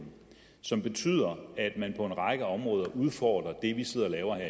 som betyder at man på en række områder udfordrer det vi sidder og laver her